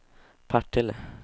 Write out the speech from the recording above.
Partille